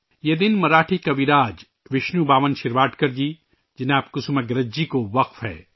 یہ دن مراٹھی شاعر ، وشنو بامن شرواڈکر جی، شریمان کسوماگرج جی کے لئے وقف ہے